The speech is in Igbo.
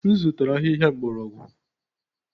M zụtara ahịhịa mgbọrọgwụ.